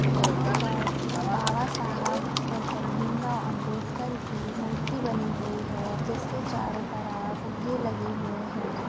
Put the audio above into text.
यहाँ पर बाबा साहब डॉक्टर भीमराव अंबेडकर की मूर्ति बनी हुई है जिसके चारों तरफ फुग्गे लगे हुए हैं।